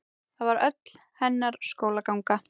Það var öll hennar skólaganga.